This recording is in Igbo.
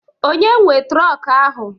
Onye nwee trọk ahụ?